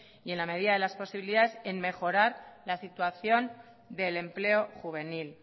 y en la medida de las posibilidades en mejorar la situación del empleo juvenil